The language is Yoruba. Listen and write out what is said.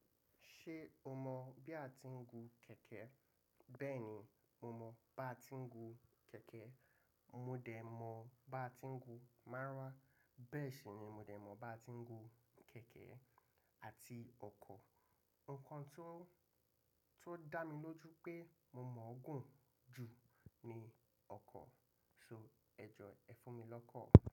Ṣé o mọ̀ bí a ti ń gun kẹ̀kẹ́? Bẹ́ẹ̀ni, mọ mọ̀ bí a ti ń gun kẹ̀kẹ́. Mọ dẹ̀ mọ̀ bí a ti ń gun márúwá, bẹ́ẹ̀ ṣì ni mọ dẹ̀ mọ̀ bí a ti ń gun kẹ̀kẹ́ àti ọkọ̀. Ǹkan tí ó, tí ó dá mi lójú pé mọ mọ̀ gùn jù ni ọkọ̀. So, ẹjọ ẹ fún mi lọ́kọ̀